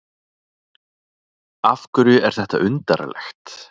Af hverju er þetta undarlegt?